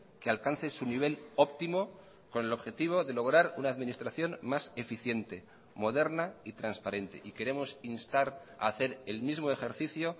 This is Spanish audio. que alcance su nivel óptimo con el objetivo de lograr una administración más eficiente moderna y transparente y queremos instar a hacer el mismo ejercicio